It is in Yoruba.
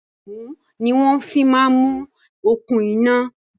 Ẹ̀mú ni wọn fi máa ń mú okùn iná